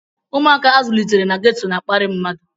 Ụmụaka a zụlitere na ghetọ na-akparị mmadụ.